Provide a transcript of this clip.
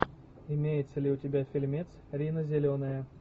имеется ли у тебя фильмец рина зеленая